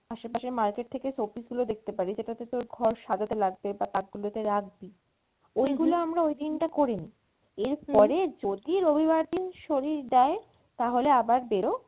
আশে পাশে market থেকে showpiece গুলো দেখতে পারি যেটাতে তোর ঘর সাজাতে লাগবে বা ওগুলো আমরা ওইদিন টায় করে নেই এরপরে যদি রবিবার দিন শরীর দেয় তাহলে আবার বেরো